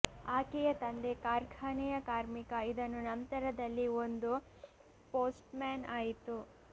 ಆಕೆಯ ತಂದೆ ಕಾರ್ಖಾನೆಯ ಕಾರ್ಮಿಕ ಇದನ್ನು ನಂತರದಲ್ಲಿ ಒಂದು ಪೋಸ್ಟ್ಮ್ಯಾನ್ ಆಯಿತು